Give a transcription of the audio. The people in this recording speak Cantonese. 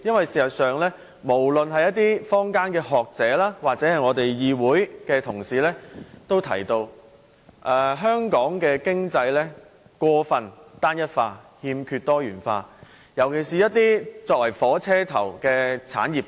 事實上，無論是坊間的學者或議會內的同事，均認為香港的經濟過分單一化，欠缺多元，尤其缺乏一些作為"火車頭"的產業。